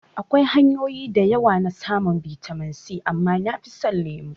Akwai hanyoyi da yawa na samun bitamin C amma nafi son lemo